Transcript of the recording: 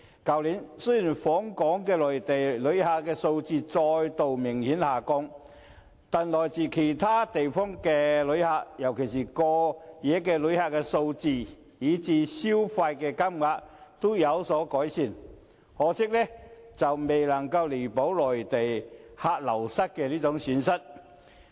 去年，雖然訪港的內地旅客數字再度明顯下降，但來自其他地方的旅客，尤其是過夜旅客的數字，以至消費金額，均有所改善，可惜未能彌補內地旅客流失造成的損失。